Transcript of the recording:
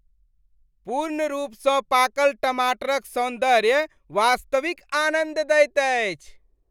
पूर्ण रूपसँ पाकल टमाटरक सौन्दर्य वास्तविक आनन्द दैत अछि।